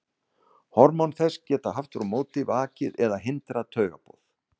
Hormón þess geta aftur á móti vakið eða hindrað taugaboð.